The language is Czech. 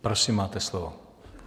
Prosím, máte slovo.